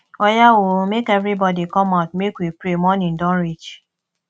oya oo make everybody come out make we pray morning don reach